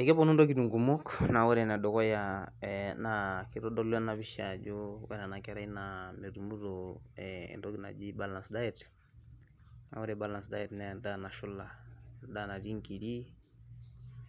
Ekeponu ntokitin kumok na ore enedukuya na kitodolu enapisha ajo ore enakerai na metumito e entoki naji balance diet na ore balance diet na endaa nashula, endaa natii nkirik